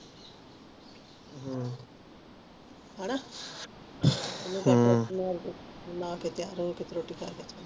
ਹਨ ਹਮ ਨ੍ਹਾ ਕ ਤਿਆਰ ਹੋਕੇ ਫੇਰ ਰੋਟੀ